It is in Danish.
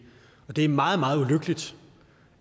er meget meget ulykkeligt